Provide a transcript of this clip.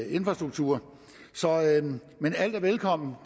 infrastruktur men alt er velkomment når